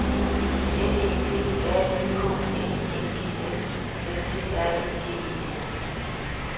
N E D R Y K N I N G S S T R E G E N